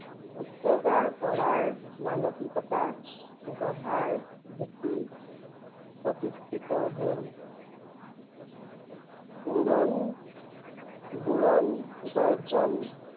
উৰ্চগা কৰাৰ মানসিকতা গঢ়াৰ ভেটি প্ৰতিষ্ঠিত হল। উৰণ বোৰণ, গৰ্জন